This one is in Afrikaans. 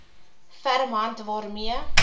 ferm hand waarmee